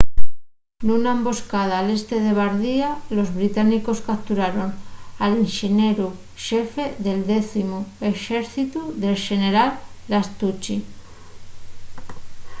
nuna emboscada al este de bardia los británicos capturaron al inxenieru xefe del décimu exércitu el xeneral lastucci